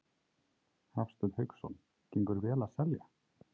Hafsteinn Hauksson: Gengur vel að selja?